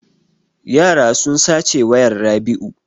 Yara sun sace wayan Rabiu.